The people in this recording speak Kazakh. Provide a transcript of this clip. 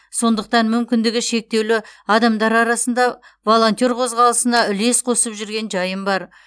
сондықтан мүмкіндігі шектеулі адамдар арасында волонтер қозғалысына үлес қосып жүрген жайым бар